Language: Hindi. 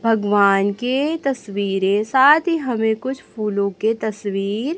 भगवान के तस्वीरें साथ ही हमें कुछ फूलो के तस्वीर--